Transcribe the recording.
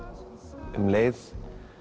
um leið